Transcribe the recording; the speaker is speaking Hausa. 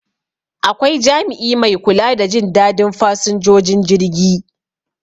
Akwai jami'i mai kula da Jin dadin fasinjojin jirgi